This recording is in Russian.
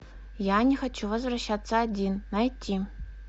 я не хочу возвращаться один найти